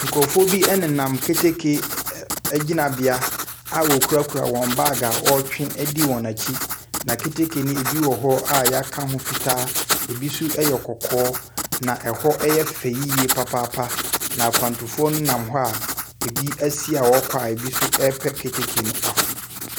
Nkurɔfoɔ bi nenam keteke ɛ ɛ . Ɛgyinabea a wɔkurakura wɔn baage a wɔretwe adi akyi. Na keteke no bi wɔ hɔ a wɔaka ho fitaa. Ɛbi nso yɛ kɔkɔɔ. Na ɛhɔ yɛ fɛ yie papaapa. Na akwantufoɔ nam hɔ a ɛbi asi a wɔrekɔ a ɛbi nso repɛ keteke no aforo.